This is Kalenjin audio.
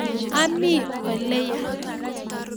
Ami oleya